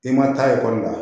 I ma taa ekɔli la